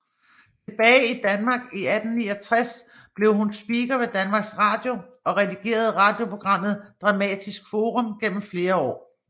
Tilbage i Danmark i 1969 blev hun speaker ved Danmarks Radio og redigerede radioprogrammet Dramatisk Forum gennem flere år